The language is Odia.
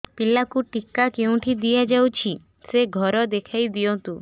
ପିଲାକୁ ଟିକା କେଉଁଠି ଦିଆଯାଉଛି ସେ ଘର ଦେଖାଇ ଦିଅନ୍ତୁ